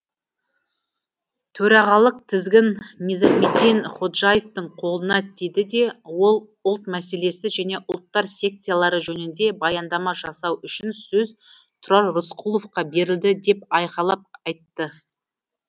төрағалық тізгін низамеддин ходжаевтың қолына тиді де ол ұлт мәселесі және ұлттар секциялары жөнінде баяндама жасау үшін сөз тұрар рысқұловқа берілді деп айқайлап айтты